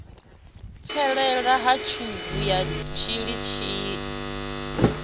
fhelela ha tshubu ya mutshilitshili